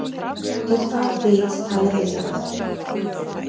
Er það bit talið eitrað.